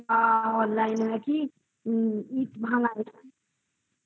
online এ নাকি ইট ভাঙ্গা ও তাই না হ্যাঁ আমি কিন্তু